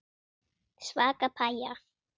Svaka pæja.